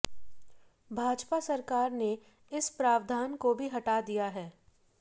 भाजपा सरकार ने इस प्रावधान को भी हटा दिया है